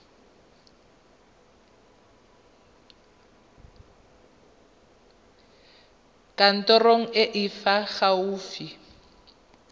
kantorong e e fa gaufi